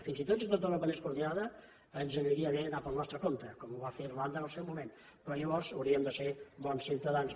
fins i tot si tot europa anés coordinada ens aniria bé anar pel nostre compte com ho va fer irlanda en el seu moment però llavors hauríem de ser bons ciutadans